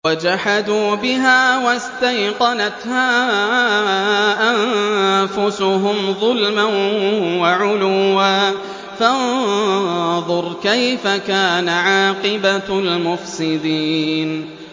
وَجَحَدُوا بِهَا وَاسْتَيْقَنَتْهَا أَنفُسُهُمْ ظُلْمًا وَعُلُوًّا ۚ فَانظُرْ كَيْفَ كَانَ عَاقِبَةُ الْمُفْسِدِينَ